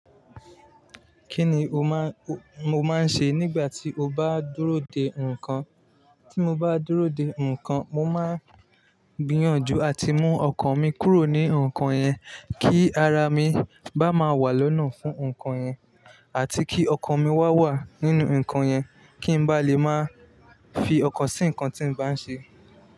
Kí ni o máa, mo máa ń ṣe nígbà tí o bá dúró de nǹkan? Tí mo bá dúró de nǹkan, mo máa gbiyànjú àti mú ọkàn mi kúrò ní nǹkan yẹn, kí ara mi bá máa wà lọ́nà fún nǹkan yẹn, àti kí ọkàn mi wá wà nínú nǹkan yẹn, kí n bá lè máa fi ọkàn sí nǹkan tí n bá ń ṣe.